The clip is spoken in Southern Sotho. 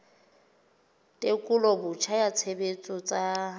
tekolo botjha ya tshebetso tsa